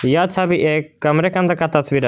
यह छवि एक कमरे के अंदर का तस्वीर है।